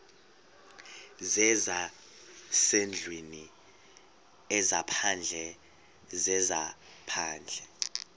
zezasendlwini ezaphandle zezaphandle